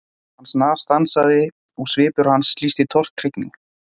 Hann snarstansaði og svipur hans lýsti tortryggni.